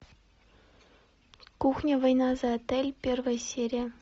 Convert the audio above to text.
кухня война за отель первая серия